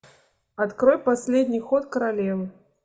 открой последний ход королевы